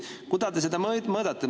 Kuidas te seda mõõdate?